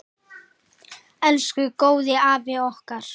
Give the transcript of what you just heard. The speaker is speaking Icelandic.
Elsku góði afi okkar.